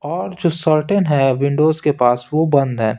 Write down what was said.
और जो शर्टन है विंडोज के पास वो बंद है।